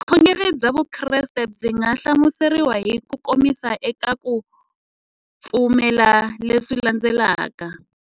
Vukhongeri bya Vukreste byi nga hlamuseriwa hi kukomisa eka ku pfumela leswi landzelaka.